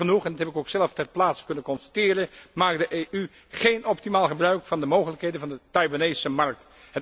Jammer genoeg, en dat heb ik ook zelf ter plaatse kunnen constateren maakt de EU geen optimaal gebruik van de mogelijkheden van de Taiwanese markt.